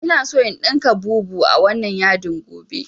Ina so in ɗinka bubu a wannan yadin gobe